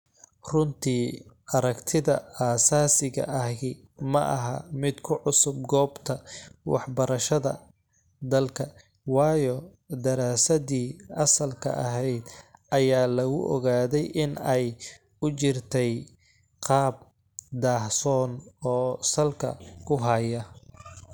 Runtii, aragtida asaasiga ahi maaha mid ku cusub goobta waxbarashada dalka, waayo daraasaddii asalka ahayd ayaa lagu ogaaday in ay u jirtay qaab daahsoon, oo salka ku haya.